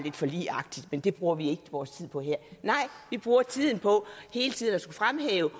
forligsagtigt men det bruger vi ikke vores tid på her nej vi bruger tiden på hele tiden at skulle fremhæve